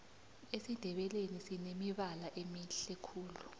esindebeleni sinemibala emihle khulu